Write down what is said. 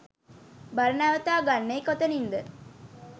බර නවතා ගන්නේ කොතනින්ද?